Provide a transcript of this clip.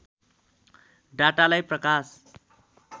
डाटालाई प्रकाश